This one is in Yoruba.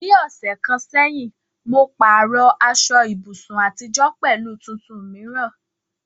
Ní ọ̀sẹ̀ kan sẹ́yìn, mo pààrọ̀ aṣọ ibùsùn àtijọ́ pẹ̀lú tuntun mìíràn.